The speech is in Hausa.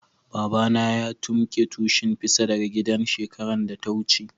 Baba na ya tumbuke tushin fisa daga gidan shekaran da ta wuce.